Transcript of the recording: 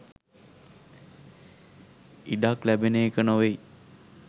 ඉඩක් ලැබෙන එක නොවෙයි.